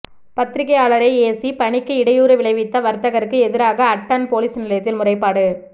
பத்திரிகையாளரை ஏசி பணிக்கு இடையூறு விளைவித்த வர்த்தகருக்கு எதிராக அட்டன் பொலிஸ் நிலையத்தில் முறைப்பாடு